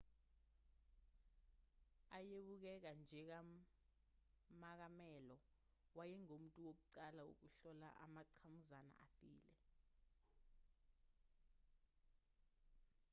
ayebukeka njengamakamelo wayengumuntu wokuqala wokuhlola amangqamuzana afile